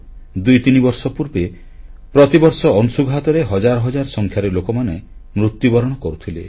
ଦୁଇତିନି ବର୍ଷ ପୂର୍ବେ ପ୍ରତିବର୍ଷ ଅଂଶୁଘାତରେ ହଜାର ହଜାର ସଂଖ୍ୟାରେ ଲୋକମାନେ ମୃତ୍ୟୁବରଣ କରୁଥିଲେ